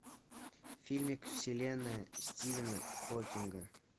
фильмик вселенная стивена хокинга